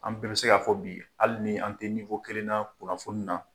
An bɛn bi se k'a fɔ bi hali ni an tɛ kelen na kunnafoni na